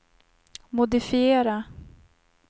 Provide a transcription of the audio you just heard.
modifiera